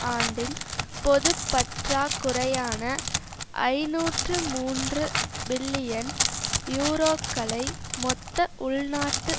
ஆண்டின் பொது பற்றாக்குறையான ஐநூற்று மூன்று பில்லியன் யூரோக்களை மொத்த உள்நாட்டு